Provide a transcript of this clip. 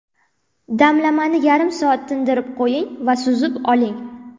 Damlamani yarim soat tindirib qo‘ying va suzib oling.